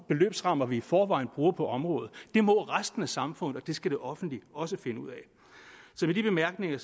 beløbsrammer vi i forvejen bruger på området det må resten af samfundet og det skal det offentlige også finde ud af så med de bemærkninger